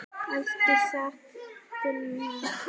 Ekki satt Gunnar?